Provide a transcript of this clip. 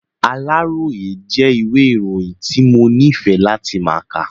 Aláròyé jẹ́ ìwẹ́ ìròyìn tí mo nífẹ̀ẹ́ láti ma kà.